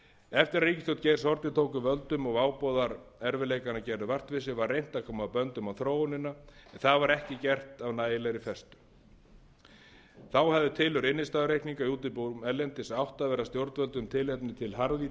eftir að ríkisstjórn geirs haarde tók við völdum og váboðar erfiðleikanna gerðu vart við sig var reynt að koma böndum á þróunina en það var ekki gert af nægilegri festu þá hafði tilurð innstæðureikninga í útibúum erlendis átt að vera stjórnvöldum tilefni til harðvítrugra